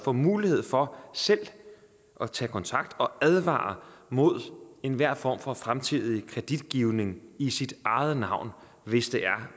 får mulighed for selv at tage kontakt og advare mod enhver form for fremtidig kreditgivning i sit eget navn hvis